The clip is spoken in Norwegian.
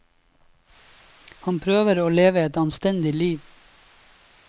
Han prøver å leve et anstendig liv.